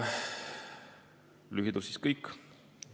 Lühidalt on see kõik.